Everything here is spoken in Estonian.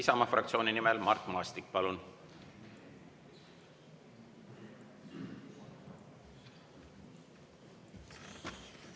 Isamaa fraktsiooni nimel Mart Maastik, palun!